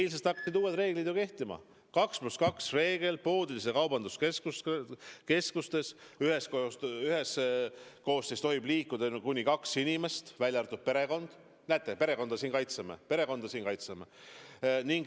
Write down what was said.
Eilsest hakkasid uued reeglid kehtima: 2 + 2 reegel poodides ja kaubanduskeskustes, üheskoos tohib liikuda ainult kuni kaks inimest, välja arvatud perekond – näete, perekonda me kaitseme siingi.